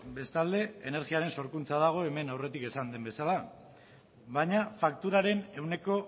bestalde energiaren sorkuntza dago hemen aurretik esan den bezala baina fakturaren ehuneko